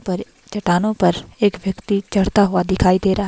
पर चटानों पर एक व्यक्ति चढ़ता हुआ दिखाई दे रहा --